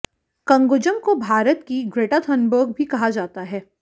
कंगुजम को भारत की Greta Thunberg भी कहा जाता है